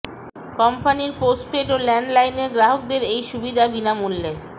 কোম্পানির পোস্টপেড ও land line গ্রাহকদের এই সুবিধা বিনামূল্যে